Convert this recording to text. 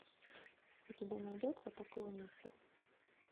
у тебя найдется поклонница